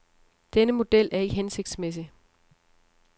Denne model er ikke hensigtsmæssig.